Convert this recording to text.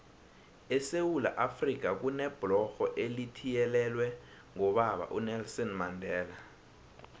esewula afrika kunebhlorho elithiyelelwe ngobaba unelson mandela